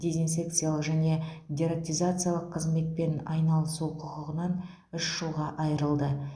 дезинфекциялық және дератизациялық қызметпен айналысу құқығынан үш жылға айырылды